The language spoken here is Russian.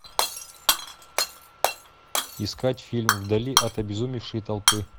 искать фильм вдали от обезумевшей толпы